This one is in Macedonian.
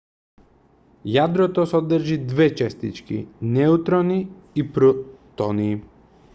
јадрото содржи две честички неутрони и протони